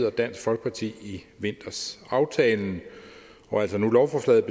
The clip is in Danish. og dansk folkeparti i vinters aftalen og altså nu lovforslaget